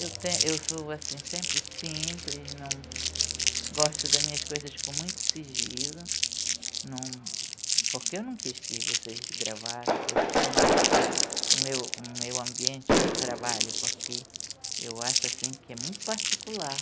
Eu tenho eu sou assim sempre simples, não gosto das minhas coisas com muito sigilo, não porque eu não quis que vocês gravassem no meu no meu ambiente de trabalho, porque eu acho que é muito particular.